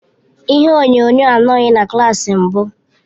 Ihe onyonyo anọghị na klas mbụ.